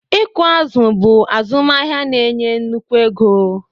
Ịkụ azụ̀ bụ azụmahịa na-enye nnukwu ego.